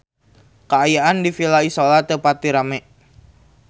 Kaayaan di Villa Isola teu pati rame